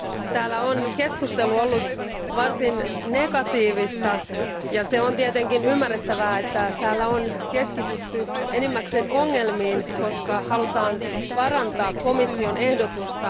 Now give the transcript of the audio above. Arvoisa puhemies, täällä keskustelu on ollut varsin negatiivista. On tietenkin ymmärrettävää, että täällä on keskitytty enimmäkseen ongelmiin, koska halutaan parantaa komission ehdotusta.